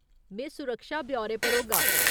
में सुरक्षा ब्यौरे पर होगा।